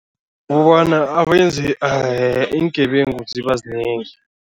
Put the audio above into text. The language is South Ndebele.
Kukobana iingebengu ziba zinengi.